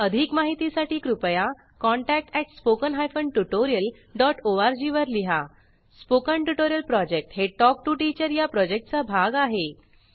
अधिक माहितीसाठी कृपया contact at spoken hyphen tutorial dot O R G वर लिहा स्पोकन ट्युटोरियल प्रॉजेक्ट हे टॉक टू टीचर या प्रॉजेक्टचा भाग आहे